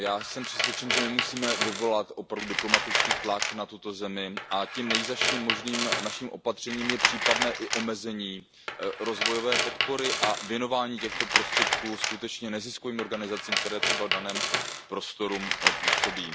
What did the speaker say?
Já jsem přesvědčen, že my musíme vyvolat opravdu diplomatický tlak na tuto zemi a naším nejzazším možným opatřením je případné omezení rozvojové podpory a věnování těchto prostředků neziskovým organizacím, které třeba v daném prostoru působí.